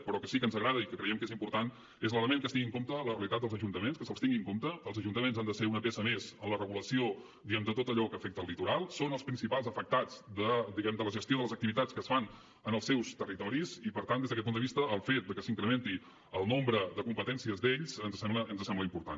però que sí que ens agrada i que creiem que és important és l’element que es tingui en compte la realitat dels ajuntaments que se’ls tingui en compte els ajuntaments han de ser una peça més en la regulació diguem ne de tot allò que afecta el litoral són els principals afectats de la gestió de les activitats que es fan en els seus territoris i per tant des d’aquest punt de vista el fet de que s’incrementi el nombre de competències d’ells ens sembla important